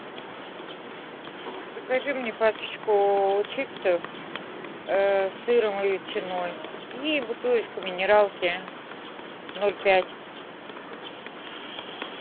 закажи мне пачечку чипсов с сыром и ветчиной и бутылочку минералки ноль пять